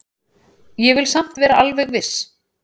Ég vil samt vera alveg viss.